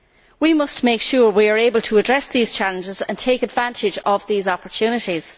We must make sure we are able to address these challenges and take advantage of these opportunities.